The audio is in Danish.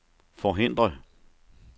forhindre